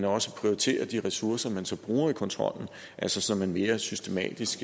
også prioriterer de ressourcer man så bruger i kontrollen altså så man går mere systematisk